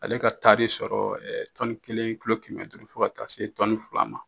Ale ka taari sɔrɔ, ɛɛ tɔnni kelen kulo kɛmɛ duuru fo ka taa se tɔnni fila ma.